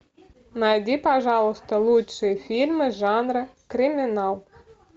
найди пожалуйста лучшие фильмы жанра криминал